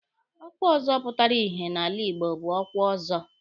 Ọkwa ọzọ pụtara ìhè n'ala Igbo bụ ọkwa Ọzọ.